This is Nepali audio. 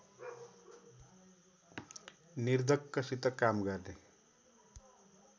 निर्धक्कसित काम गर्ने